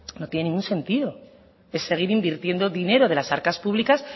no tiene ningún sentido es seguir invirtiendo dinero de las arcas públicas